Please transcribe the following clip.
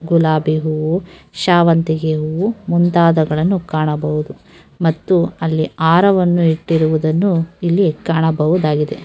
ಗುಲಾಬಿ ಹೂವು ಶಾವಂತಿಗೆ ಹೂವು ಮುಂತಾದಗಳನ್ನು ಕಾಣಬಹುದು ಮತ್ತು ಅಲ್ಲಿ ಹಾರವನ್ನು ಇಟ್ಟಿರುವುದನ್ನು ಇಲ್ಲಿ ಕಾಣಬಹುದಾಗಿದೆ .